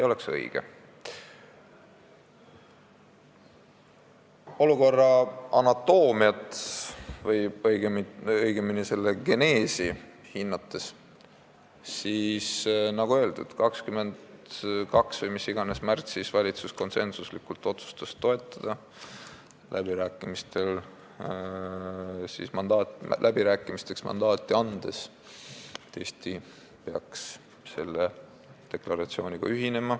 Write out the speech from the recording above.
Kui olukorra anatoomiat või õigemini geneesi hinnata, siis, nagu öeldud, 22. märtsil või mis iganes märtsi kuupäeval otsustas valitsus konsensuslikult toetada Eesti ühinemist selle deklaratsiooniga, andes läbirääkimisteks mandaadi.